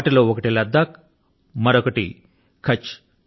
వాటిలో ఒకటి లద్దాఖ్ మరొకటి కచ్ఛ్